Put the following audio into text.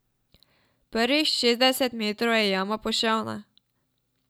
Prvih šestdeset metrov je jama poševna.